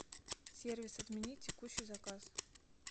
сервис отмени текущий заказ